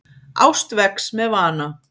Ást vex með vana.